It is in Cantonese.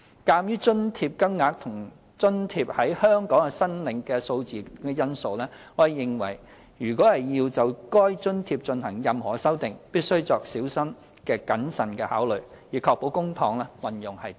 鑒於津貼金額及津貼在香港的申請數目等因素，我們認為如要就該津貼進行任何修訂，必須作小心謹慎的考慮，以確保公帑運用得宜。